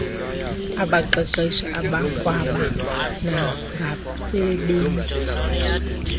abaqeqeshi abakwaba nagbasebenzi